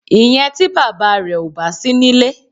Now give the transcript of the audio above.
Ìyẹn tí bàbá rẹ ò bá sí nílé.